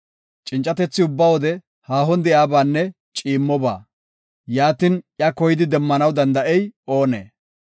Cincatethi ubba wode haahon de7iyabaanne ciimmoba; yaatin, iya koyidi demmanaw danda7ey oonee?